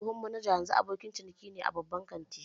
Tsohon manajan yanzu abokin ciniki ne a babban kantin